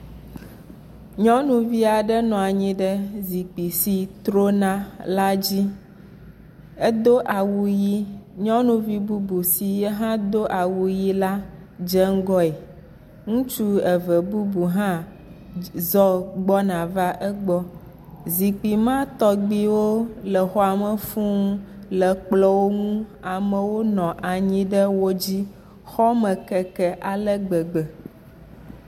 Nyɔnuvi aɖe nɔ anyi ɖe zikpui si trona la dzi, edo awu ʋi, nyɔnuvi bubu si yehã do awu ʋi la dze ŋgɔe, ŋutsu eve bubu zɔ gbɔna va egbɔ. Zukpui ma tɔgbuiwo le xɔa me fuu le kplɔwo ŋu, amewo nɔ anyi ɖe wo dzi, xɔme keke ale gbegbe.